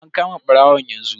An kama barawon yanzu.